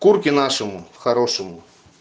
курки нашему хорошему